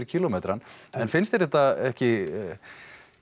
kílómetrann en finnst þér þetta ekki